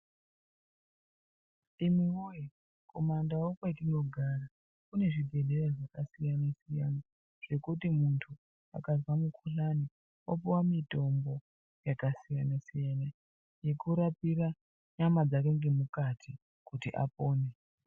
Imi woye kumandau kwetinogara kune zvibhedhlera zvakasiyana siyana zvekuti muntu akazwa mukhuhlani opuwa mitombo yakasiyana siyana yekurapira nyama dzake ngemukati kuti apone.